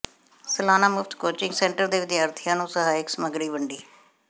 ਸਲਾਨਾ ਮੁਫ਼ਤ coaching centre ਦੇ ਵਿਦਿਆਰਥੀਆਂ ਨੂੰ ਸਹਾਇਕ ਸਮੱਗਰੀ ਵੰਡੀ